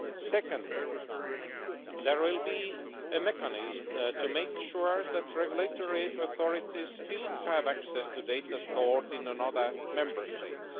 Secondly, there will be a mechanism to make sure that regulatory authorities still have access to data stored in another Member State.